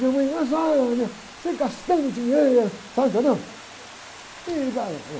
Minha mãe, mas, ah, você gastando dinheiro, sabe, entendeu? Ih...